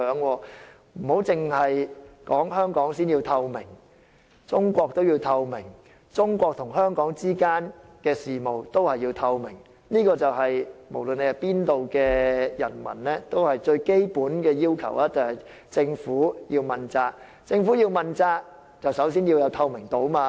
並非只是香港市民要求政府要有透明度，中國政府也要有透明度，中國與香港之間的事務也要透明，這對無論哪一方的人民而言，要求政府問責是最基本要求。